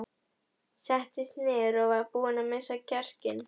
Settist niður og var búin að missa kjarkinn.